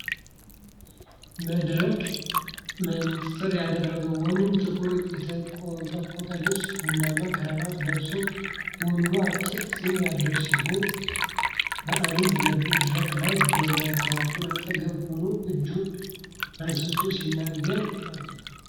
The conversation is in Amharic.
መነጽር ያደረገ ወንድ ጥቁር የተንቆጠቆጠ ልብስና ቡናማ ክራቫት ለብሷል። ወንዱ አጭር ፂም ያለው ሲሆን፣ በአንድ መድረክ ላይ በማይክሮፎን አጠገብ ሆኖ እጁን አንስቶ ሲናገር አለ።